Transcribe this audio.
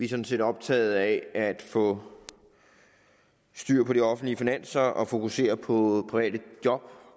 sådan set optaget af at få styr på de offentlige finanser og fokusere på private job